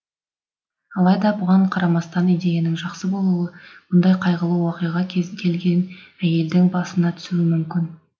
алайда бұған қарамастан идеяның жақсы болуы бұндай қайғылы уақиға кез келген әйелдің басына түсуі мүмкін